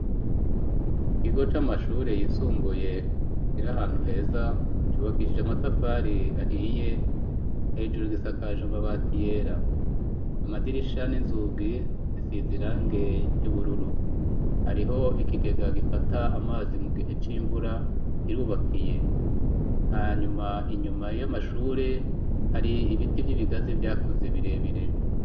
Ikigo c'amashure yisumbuye kira ahantu heza cubakishije amatafari ahiye hejuru gisakaje mabati yera amadirishan'inzugi zisiza irange ry'ubururu hariho ikikega gifata amazi mu gihe c'imvura kirubakiye hanyuma inyuma y'amashure hari ibiti vy'ibigazi vyakuze birebire.